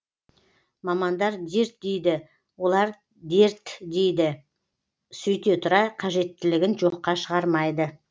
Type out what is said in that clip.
мамандар дерт дейді олар дерт дейді сөйте тұра қажеттілігін жоққа шығармайды